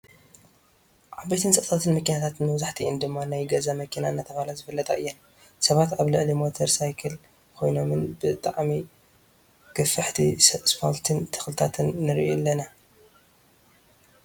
ዓበይቲ ህንፃታትን መኪነታትንመብዛሕቲኤን ድማ ናይ ገዛ መኪና እናተባህላ ዝፍለጣ እየን። ሰባት ኣብ ልዕሊ ሞተር ሳይክል ኮይኖምን ብጣዕሚ ገፊሕቲ ስፓልቲን ተክልታትን ንሪኢ ኣለና ።